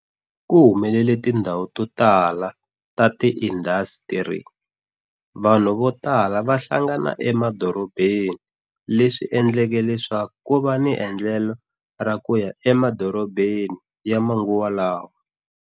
Ku humelele tindhawu to tala ta tiindasitiri, vanhu vo tala va hlangana emadorobeni, leswi endleke leswaku ku va ni endlelo ra ku ya emadorobeni ya manguva lawa.